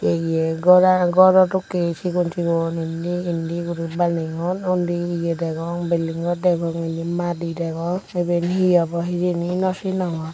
yea ghor o dokkin sigon sigon indi indi guri baneyun undi building ghor degong indi madi degong iye he obo hijeni nw sinongor.